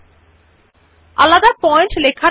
bullet ও সংখ্যায়ন যখন স্বতন্ত্র পয়েন্ট হবে লিখিত হয়